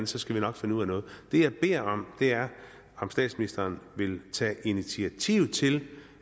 så skal vi nok finde ud af noget det jeg beder om er at statsministeren tager initiativ til